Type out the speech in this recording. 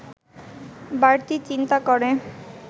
বাড়তি চিন্তা করে